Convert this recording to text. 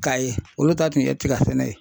Kaye, olu ta tun ye tiga sɛnɛ ye .